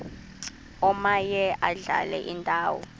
omaye adlale indawo